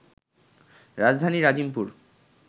রাজধানীর আজিমপুর